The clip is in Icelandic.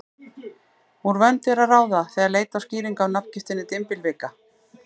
Úr vöndu er að ráða, þegar leita á skýringa á nafngiftinni dymbilvika.